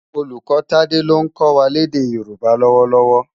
Ólúkò Tade ló nkò wá lèdè Yoruba lòwòlòwò